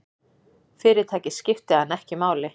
Fyrirtækið skipti hann ekki máli.